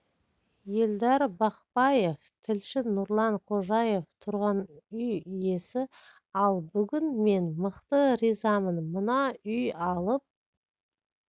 елдар бақпаев тілші нұрлан хожаев тұрғын үй иесі ал бүгін мен мықты ризамын мына үй алып